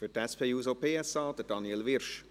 Für die SP-JUSO-PSA, Daniel Wyrsch.